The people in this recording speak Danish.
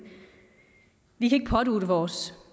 vi kan ikke pådutte vores